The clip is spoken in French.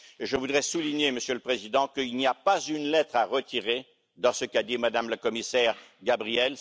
Je voudrais souligner, Monsieur le Président, qu'il n'y a pas une lettre à retirer dans ce qu'a dit Mme la commissaire Gabriel.